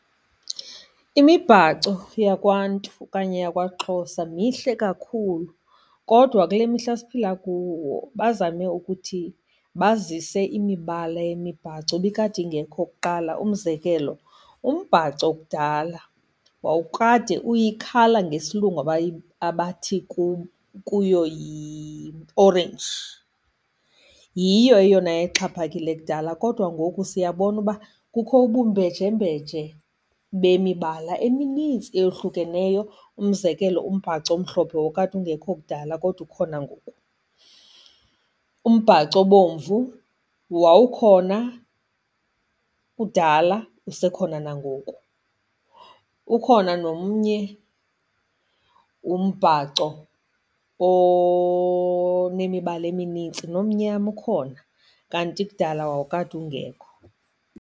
Imibhaco yakwaNtu okanye yakwaXhosa mihle kakhulu, kodwa kule mihla siphila kuwo bazame ukuthi bazise imibala yemibhaco ibikade ingekho kuqala. Umzekelo, umbhaco kudala wawukade uyikhala ngesilungu abathi kuyo yiorenji, yiyo eyona yayixhaphakile kudala, kodwa ngoku siyabona uba kukho ubumbejembeje bemibala eminintsi eyohlukeneyo. Umzekelo, umbhaco omhlophe wawukade ungekho kudala kodwa ukhona ngoku. Umbhaco obomvu wawukhona kudala, usekhona nangoku. Ukhona nomnye umbhaco onemibala eminintsi, nomnyama ukhona, kanti kudala wawukade ungekho.